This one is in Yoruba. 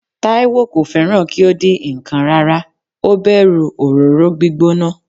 Taiwo kò fẹ́ràn kí ó dín ǹkan rárá, ó bẹ̀rù òróró gbígbóná.